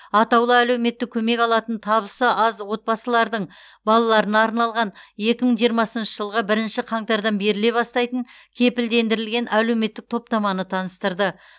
атаулы әлеуметтік көмек алатын табысы аз отбасылардың балаларына арналған екі мың жиырмасыншы жылғы бірінші қаңтардан беріле бастайтын кепілдендірілген әлеуметтік топтаманы таныстырды